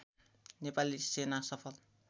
नेपाली सेना सफल